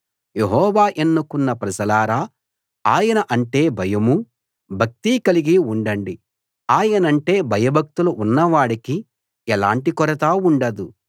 యెహోవా ఎన్నుకున్న ప్రజలారా ఆయన అంటే భయమూ భక్తీ కలిగి ఉండండి ఆయనంటే భయభక్తులు ఉన్నవాడికి ఎలాంటి కొరతా ఉండదు